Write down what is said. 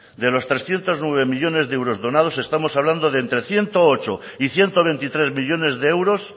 de los trescientos nueve millónes de euros donados estamos hablando de entre ciento ocho y ciento veintitrés millónes de euros